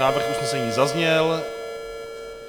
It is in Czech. Návrh usnesení zazněl.